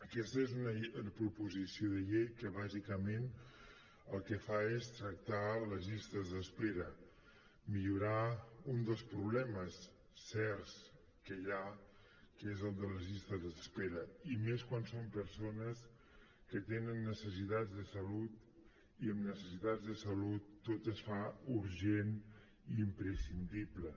aquesta és una proposició de llei que bàsicament el que fa és tractar les llistes d’espera millorar un dels problemes certs que hi ha que és el de les llistes d’espera i més quan són persones que tenen necessitats de salut i en necessitats de salut tot es fa urgent i imprescindible